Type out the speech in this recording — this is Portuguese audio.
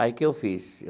Aí o que eu fiz?